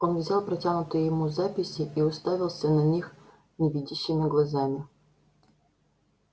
он взял протянутые ему записи и уставился на них невидящими глазами